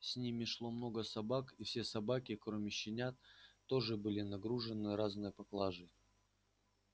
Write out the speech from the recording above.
с ними шло много собак и все собаки кроме щенят тоже были нагружены разной поклажей